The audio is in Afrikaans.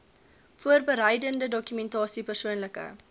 voorbereidende dokumentasie persoonlike